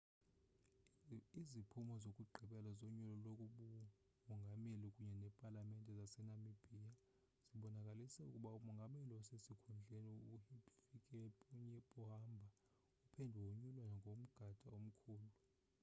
iziphumo zokugqibela zonyulo lobumongameli kunye nepalamente zasenamibia zibonakalise ukuba umongameli osesikhundleni uhifikepunye pohamba uphinde wonyulwa ngomda omkhulu